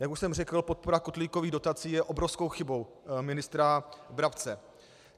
Jak už jsem řekl, podpora kotlíkových dotací je obrovskou chybou ministra Brabce.